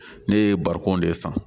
Ne ye barikon de san